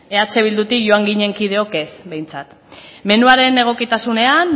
eh bildutik joan ginen kideok ez behintzat menuaren egokitasunean